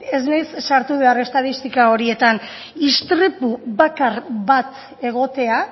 ez naiz sartu behar estatistika horietan istripu bakar bat egotea